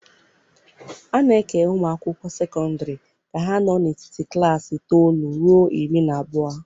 A na-eke ụmụ akwụkwọ sekọndrị ka ha nọ n'etiti klaasị itoolu ruo iri na abụọ.